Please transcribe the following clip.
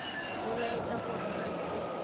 go laetša gore ga se